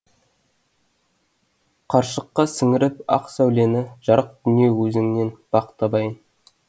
қаршыққа сіңіріп ақ сәулені жарық дүние өзіңнен бақ табайын